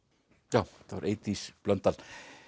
já þetta var Eydís Blöndal